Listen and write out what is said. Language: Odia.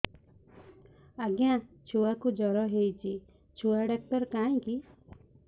ଆଜ୍ଞା ଛୁଆକୁ ଜର ହେଇଚି ଛୁଆ ଡାକ୍ତର କାହିଁ କି